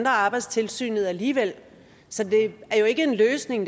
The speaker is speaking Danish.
arbejdstilsynet alligevel så det er ikke en løsning